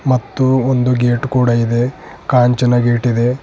ಮತ್ತು ಒಂದು ಗೇಟ್ ಕೂಡ ಇದೆ ಕಾಂಚನ ಗೇಟ್ ಇದೆ.